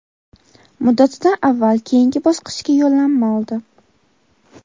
muddatidan avval keyingi bosqichga yo‘llanma oldi;.